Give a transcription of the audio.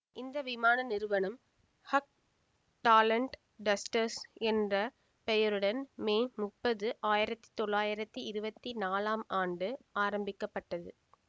இந்த விமான நிறுவனம் ஹஃப் டாலண்ட் டஸ்டர்ஸ் என்ற பெயருடன் மே முப்பது ஆயிரத்தி தொள்ளாயிரத்தி இருவத்தி நாலாம் ஆண்டு ஆரம்பிக்க பட்டது